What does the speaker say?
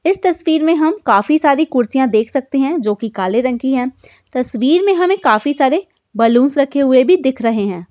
इस तस्वीर में हम काफी सारी कुर्सियाँ देख सकते है जोकि काले रंग की है। तस्वीर में हमे काफी सारे बलून्स रखे हुए भी दिख रहे है।